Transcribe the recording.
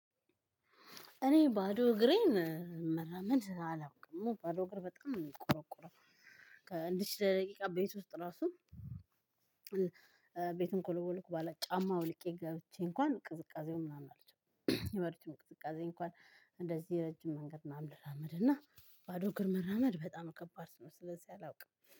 እኔ ባዶ እግሬን መራመድ አላውቅም ባዶ እግር በጣም ነው የሚቆረቁረው። ለትንሽ ደቂቃ ቤት ውስጥ ራሱ ቤቱን ከለወልኩ በኃላ ጫማ አውልቄ ገብቼ እንኳን ቅዝቃዜውን ምናምን አልችልም። የበራች ቅዝቃዜ እንኳን እንደዚህ ረጅም መንገድ ምናምን ልራመድ እና ባዶ እግር መራመድ በጣም ከባድ ነው። ስለዚህ አላውቅም